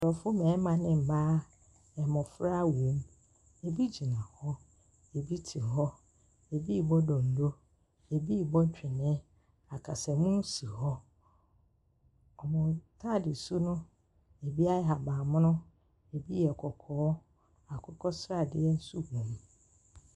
Nkurɔfo mmarima ne mmaa, mmɔfra wom. Ebi gyina hɔ, ebi te hɔ, ebi rebɔ donno, ebi rebɔ twene. Akasamu si hɔ. Wɔn ntaade su no, ebi yɛ ahaban mono, ebi yɛ kɔkɔɔ, akokɔ sardeɛ nso wom.